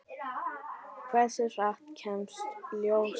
Hversu hratt kemst ljósið?